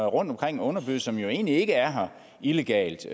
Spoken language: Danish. rundtomkring og det som egentlig ikke er her illegalt